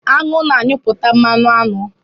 Anwụ na anyuputa mmanụ aṅụ